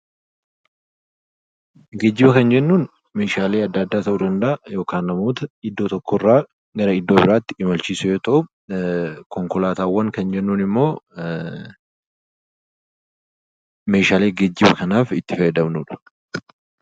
Geejjiba kan jennuun meeshaalee adda addaa ta'uu danda'aa, yookiin namoota iddoo tokko irra gara iddoo biraatti imalchiisuu yoo ta'u, Konkolaataawwan kan jennuun immoo meeshaalee geejjiba kanaaf itti fayyadamnudha.